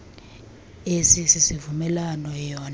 esi sivumelwano eyona